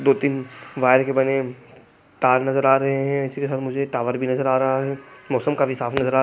दो तीन वायर के बने तार नजर आ रहे है इसके साथ मुझे एक टावर भी नजर आ रहा है मौसम काफी साफ नजर आ रहा --